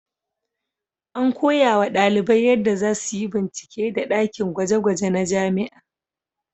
An koyawa ɗalibai yadda za su yi bincike da ɗakin gwaje-gwaje na jami'a.